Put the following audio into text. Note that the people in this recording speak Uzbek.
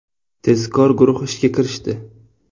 Tezkor guruh ishga kirishdi.